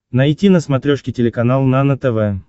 найти на смотрешке телеканал нано тв